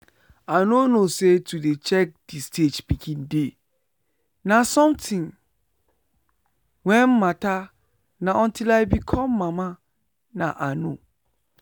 i nor know say to dey check the stage pikin dey na something wen matter na until i become mama na i know.